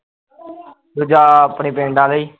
ਦੂਜਾ ਆਪਣੇ ਆਲੇ ਈ